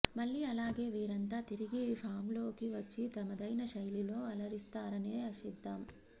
మళ్లీ అలాగే వీరంతా తిరిగి ఫామ్లోకి వచ్చి తమదైన శైలిలో అలరిస్తారనే ఆశిద్దాం